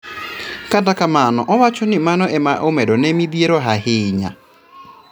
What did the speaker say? Kata kamano owachoni mano ema nomedone midhiero ahinya